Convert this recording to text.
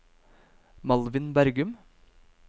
Malvin Bergum